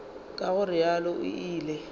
ka go realo o ile